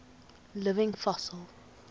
living fossils